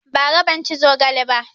Ba ra ban ci zogale ba